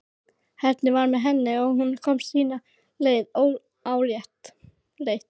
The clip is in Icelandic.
Heppnin var með henni og hún komst sína leið óáreitt.